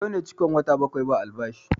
Yau ne cikon wata bakwai ba albashi